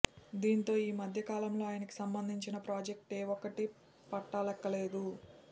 దీంతో ఈ మధ్య కాలంలో ఆయనకి సంబంధించిన ప్రాజెక్టు ఏ ఒక్కటీ పట్టాలెక్కలేదు